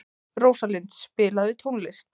Rósalind, spilaðu tónlist.